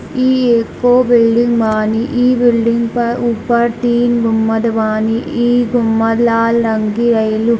इ एगो बिल्डिंग बानी | इ बिल्डिंग पर ऊपर तीन गुम्बद बानी | इ गुम्बद लाल रंग के रहेलु |